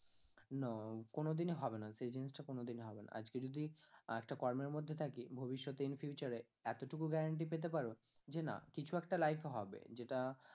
No কোনোদিনই হবে না সেই জিনিস টা কোনোদিনই হবে না, আজকে যদি আহ একটা কর্মের মধ্যে থাকি ভবিষৎতে in future এ এতোটুকু guaranty পেতে পারো যে না কিছু একটা life এ হবে যেটা